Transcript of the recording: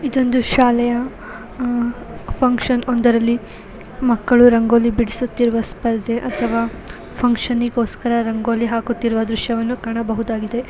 ಇದೊಂದು ಶಾಲೆಯ ಅಹ್ಹ್ ಫಂಕ್ಷನ್ ಒಂದರಲ್ಲಿ ಮಕ್ಕಳು ರಂಗೋಲಿ ಬಿಡಿಸುತ್ತರುವ ದೃಶ್ಯ ಅಥವಾ ಫಂಕ್ಷನ್ ಗೆ ರಂಗೋಲಿ ಹಾಕುವ ದೃಶ್ಯವನ್ನು ಕಾಣಬಹುದಾಗಿದೆ.